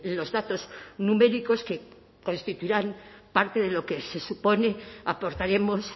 los datos numéricos que constituirán parte de lo que se supone aportaremos